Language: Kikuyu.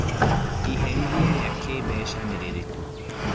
Iherithia rĩa kĩmbeca nĩ rĩrĩkũ